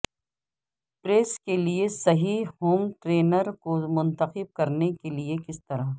press کے لئے صحیح ہوم ٹرینر کو منتخب کرنے کے لئے کس طرح